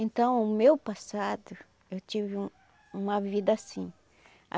Então, o meu passado, eu tive uma vida assim.